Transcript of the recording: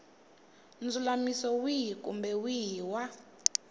ndzulamiso wihi kumbe wihi wa